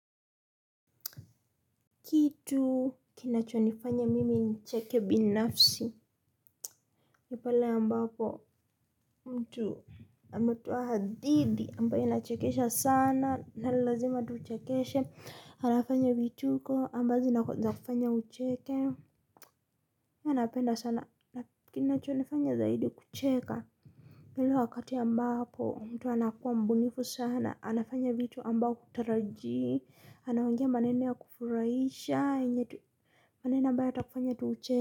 Kitu kinachonifanya mimi nicheke binafsi. Ni pale ambapo mtu ametoa hadithi ambayo inachekesha sana na lazima atuchekeshe. Anafanya vituko ambazo zinakufanya ucheke. Huwa napenda sana. Kinachonifanya zaidi kucheka. Ni ule wakati ambapo mtu anakuwa mbunifu sana. Anafanya vitu ambao hutarajii. Anaongea maneno ya kufurahisha. Yenye tu maneno ambayo yatakufanya tu ucheke.